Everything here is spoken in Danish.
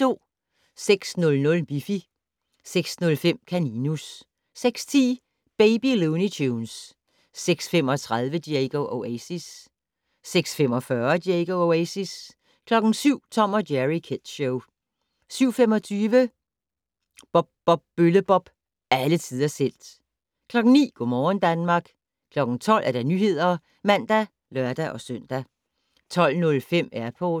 06:00: Miffy 06:05: Kaninus 06:10: Baby Looney Tunes 06:35: Diego Oasis 06:45: Diego Oasis 07:00: Tom & Jerry Kids Show 07:25: Bob Bob Bølle-Bob - alle tiders helt 09:00: Go' morgen Danmark 12:00: Nyhederne (man og lør-søn) 12:05: Airport